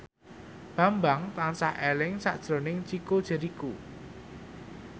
Bambang tansah eling sakjroning Chico Jericho